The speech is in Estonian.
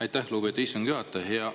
Aitäh, lugupeetud istungi juhataja!